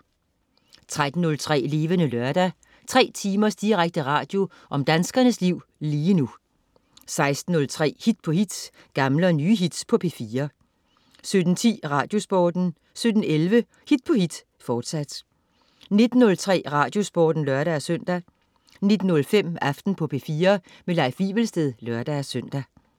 13.03 Levende Lørdag. 3 timers direkte radio om danskernes liv lige nu 16.03 Hit på hit. Gamle og nye hits på P4 17.10 Radiosporten 17.11 Hit på hit, fortsat 19.03 Radiosporten (lør-søn) 19.05 Aften på P4. Leif Wivelsted (lør-søn)